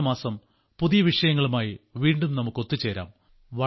അടുത്തമാസം പുതിയ വിഷയങ്ങളുമായി വീണ്ടും നമുക്ക് ഒത്തുചേരാം